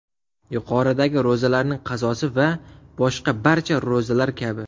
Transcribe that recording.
Yuqoridagi ro‘zalarning qazosi va boshqa barcha ro‘zalar kabi.